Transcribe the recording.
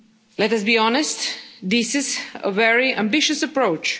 Let us be honest this is a very ambitious approach.